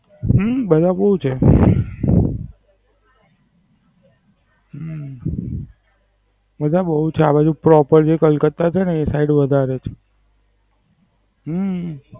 હમ પેલા બોવ છે. હમ બધા બવ ચાલુ છે Proper જે કલકત્તા છેને એ Side વધારે છે. હમ